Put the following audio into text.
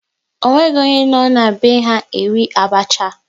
Ọ nweghị onye nọ n'be ha na-eri abacha